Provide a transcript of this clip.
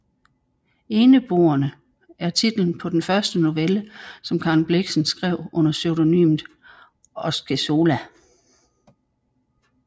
Eneboerne er titlen på den første novelle som Karen Blixen skrev under pseudonymet Osceola